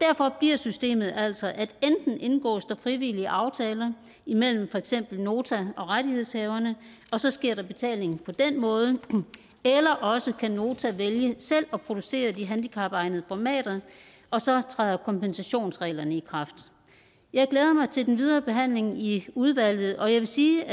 derfor bliver systemet altså at enten indgås der frivillige aftaler imellem for eksempel nota og rettighedshaverne og så sker der betaling på den måde eller også kan nota vælge selv at producere de handicapegnede formater og så træder kompensationsreglerne i kraft jeg glæder mig til den videre behandling i udvalget og jeg vil sige